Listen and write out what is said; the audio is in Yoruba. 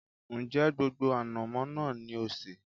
Ń jẹ́ gbogbo ànàmọ́ náà ni ó sé?